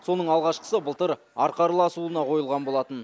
соның алғашқысы былтыр арқарлы асуына қойылған болатын